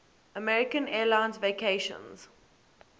american airlines vacations